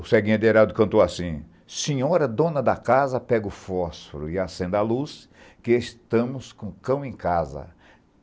O Serguinho Adeirado cantou assim... Senhora, dona da casa, pegue o fósforo e acenda a luz, que estamos com o cão em casa.